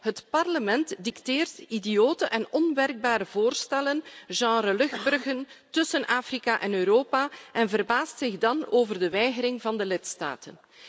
Het Parlement dicteert idiote en onwerkbare voorstellen, in het genre luchtbruggen tussen Afrika en Europa en verbaast zich dan over de weigering van de lidstaten.